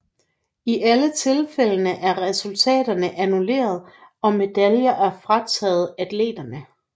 I alle tilfældene er resultaterne annulleret og medaljer er frataget atleterne